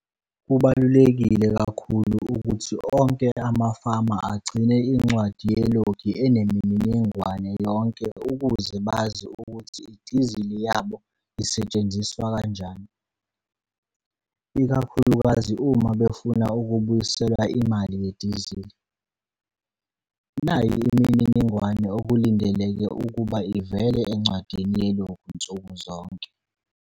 Kubalulekile kakhulu ukuthi onke amafama agcine incwadi yelogi enemininingwane yonke ukuze bazi ukuthi idizili yabo isetshenziswa kanjani, ikakhulukazi uma befuna ukubuyiselwa imali yedizili. Nayi imininingwane okulindeleke ukuba ivele encwadini yelogi nsukuzonke.